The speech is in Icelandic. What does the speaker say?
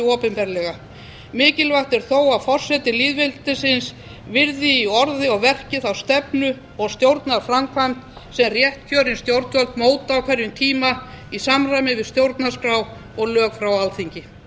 opinberlega mikilvægt er þó að forseti lýðveldisins virði í orði og verki þá stefnu og stjórnarframkvæmd sem réttkjörin stjórnvöld móta á hverjum tíma í samræmi við stjórnarskrá og lög frá alþingi